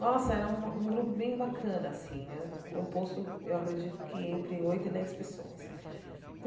Nossa, era um um grupo bem bacana, assim né, composto, eu acredito que, entre oito e dez pessoas.